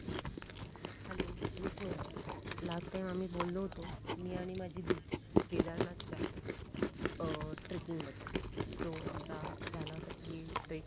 hello miss Sneha last time आम्ही बोललो होतो मी आणि माझी दि केदारनाथच्या अं ट्रेकिंग बदल जो आमचा झाला होता कि ट्रेक